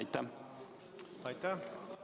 Aitäh!